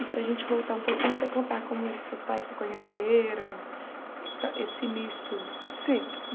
E para gente voltar um pouquinho e você contar como seus pais se conheceram, esse início... Sim.